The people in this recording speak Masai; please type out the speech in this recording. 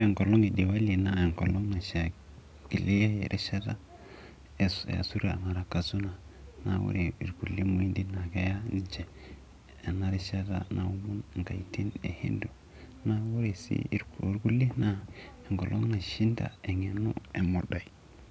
Ore enkolong e Diwali naa enkolong naaikilee erishata naa ore ilkule muhindi naa keya ninche enarishata naomon inkaitin ehindu. Naa ore sii too ilkuliek naa enkolong naishinda engeno emodai.